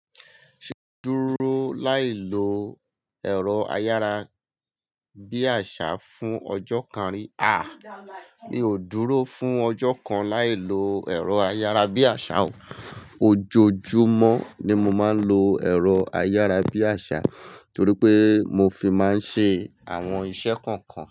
Ṣé ó dúró láì lo ẹ̀rọ ayára bí àṣá fún ọjọ́ kan rí? Mi ò dúró fún ọjọ́ kan láì lo ẹ̀rọ ayára bí àṣá o. Ojoojúmọ́ ni mo máa ń lo ẹ̀rọ ayára bí àṣá torí pé mo fi máa ń ṣe àwọn iṣẹ́ kọ̀ọ̀kan.